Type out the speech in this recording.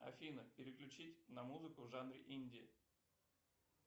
афина переключить на музыку в жанре инди